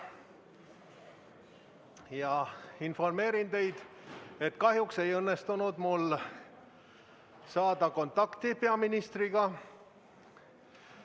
Ma informeerin teid, et kahjuks ei õnnestunud mul peaministriga kontakti saada.